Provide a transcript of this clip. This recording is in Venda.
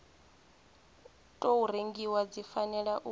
tou rengiwa dzi fanela u